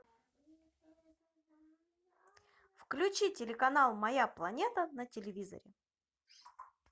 включи телеканал моя планета на телевизоре